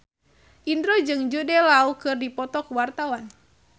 Indro jeung Jude Law keur dipoto ku wartawan